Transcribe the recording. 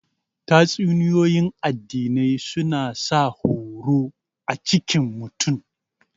Tatsuniyoyin addinai suna sa horo a cikin mutum